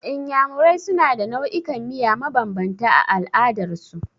Iyamurai suna da nau'ikan miya mabambanta a al'adar su.